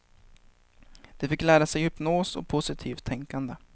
De fick lära sig hypnos och positivt tänkande.